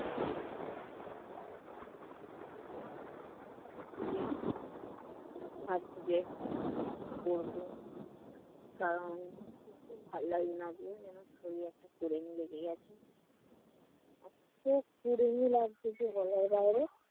গিয়ে ভাবছি যে কি করবো কারণ কিচ্ছু ভাল্লাগছে না আজকে। কুড়েমি লেগে গেছে। এত কুড়েমি লাগছে যে বলার বাইরে।